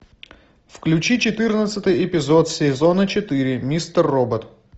включи четырнадцатый эпизод сезона четыре мистер робот